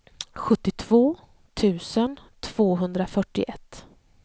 sjuttiotvå tusen tvåhundrafyrtioett